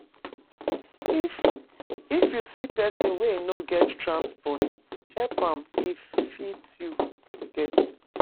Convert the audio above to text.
If If you see person wey no get transport, help am if you get